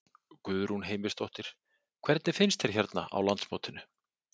Guðrún Heimisdóttir: Hvernig finnst þér hérna á landsmótinu?